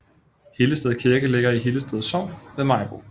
Hillested Kirke ligger i Hillested Sogn ved Maribo